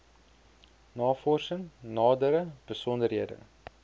navorsing nadere besonderhede